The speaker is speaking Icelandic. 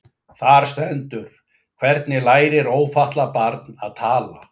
Þar stendur: Hvernig lærir ófatlað barn að tala?